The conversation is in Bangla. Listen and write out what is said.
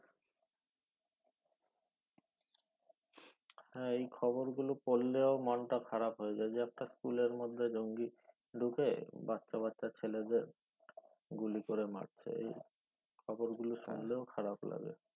হ্যাঁ এই খবর গুলো পরলেও মনটা খারাপ হয়ে যায় যে একটা school মধ্যে জঙ্গি ঢুকে বাচ্চা বাচ্চা ছেলেদের গুলি করে মারছে খবর গুলো শুনলেও খারাপ লাগে